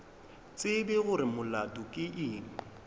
tsebe gore molato ke eng